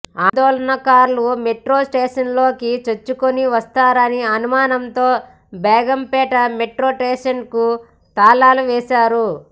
ఆందోళనకారులు మెట్రోస్టేషన్లోకి చొచ్చుకుని వస్తారనే అనుమానంతో బేగంపేట మెట్రో స్టేషన్కు తాళాలు వేశారు